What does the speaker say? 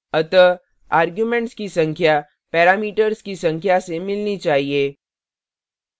अतः arguments की संख्या parameters की संख्या से मिलनी चाहिए